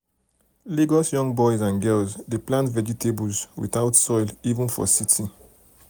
lagos young boys and girls dey plant vegetables without soil even for city.